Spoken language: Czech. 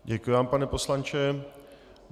Děkuji vám, pane poslanče.